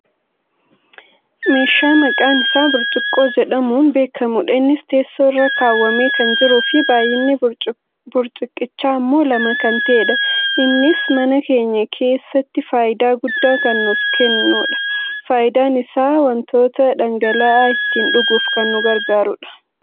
meeshaa maqaan isaa burcuqqoo jedhamuun beekkamudha. innis teessoo irra kaawwamee kan jiruufi baayyinni burcuqqichaa ammoo lama kan ta'edha. innis mana keenya keessatti fayidaa guddaa kan nuuf keedha. fayidaan isaa wantoota dhangala'aa ittiin dhuguuf kan nu gargaarudha.